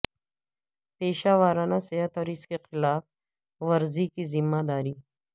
پیشہ ورانہ صحت اور اس کی خلاف ورزی کی ذمہ داری